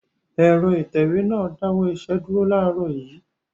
Ẹ̀rọ ìtẹ̀wé náà dáwọ́ iṣẹ́ dúró láàárọ̀ yìí.